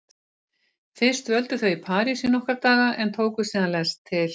Fyrst dvöldu þau í París í nokkra daga en tóku síðan lest til